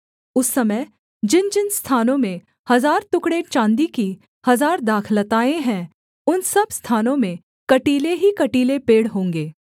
उस समय जिनजिन स्थानों में हजार टुकड़े चाँदी की हजार दाखलताएँ हैं उन सब स्थानों में कटीले ही कटीले पेड़ होंगे